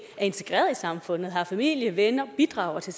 er integreret i samfundet har familie venner bidrager til